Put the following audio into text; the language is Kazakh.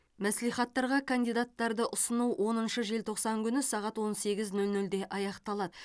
мәслихаттарға кандидаттарды ұсыну оныншы желтоқсан күні сағат он сегіз нөл нөлде аяқталады